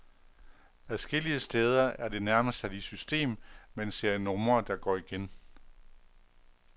Adskillige steder er det nærmest sat i system med en serie numre, der går igen.